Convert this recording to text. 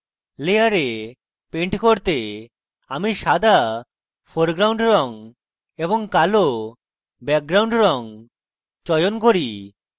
layer paint করতে আমি সাদা foreground রঙ এবং কালো background রঙ চয়ন করি